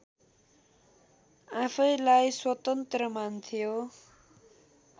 आफैँलाई स्वतन्त्र मान्थ्यो